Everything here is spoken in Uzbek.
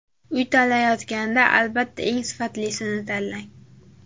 Uy tanlayotganda, albatta, eng sifatlisini tanlang!